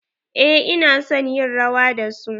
Eh ina son yin rawa da su.